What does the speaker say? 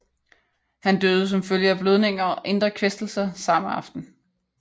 Han døde som følge af blødninger og indre kvæstelser samme aften